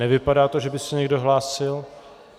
Nevypadá to, že by se někdo hlásil.